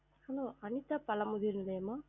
Hello Anitha Pazhamudhir